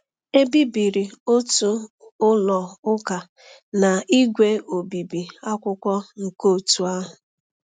E bibiri otu ụlọ ụka na ígwè obibi akwụkwọ nke òtù ahụ.